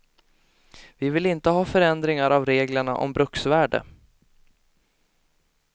Vi vill inte ha förändringar av reglerna om bruksvärde.